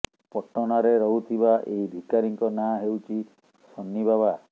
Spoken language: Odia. ପଟନାରେ ରହୁଥିବା ଏହି ଭିକାରୀଙ୍କ ନାଁ ହେଉଛି ସନ୍ନି ବାବା